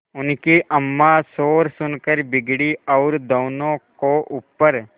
उनकी अम्मां शोर सुनकर बिगड़ी और दोनों को ऊपर